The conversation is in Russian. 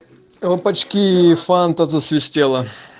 опачки фанта засвистела